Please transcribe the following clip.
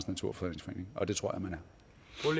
naturfredningsforening og det tror jeg man